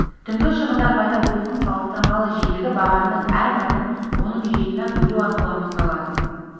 түнгі шығындар пайда болуының салыстырмалы жиілігі бағанның әр мәнін оның жиынына бөлу арқылы анықталады